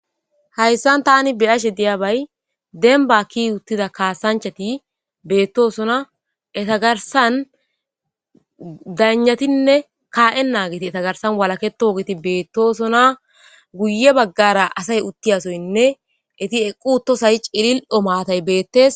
hayssan tani be7ashe diyabay denbatti uttida kaasanchati beettoosona etagarsan danatinne kaa7e naagiti etagarsan walaketoogeti beettosona guye baggara asay uttiyasoynne eti eqquuto say cilil7o maatay beettes.